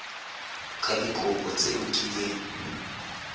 ka dikopo tse o kileng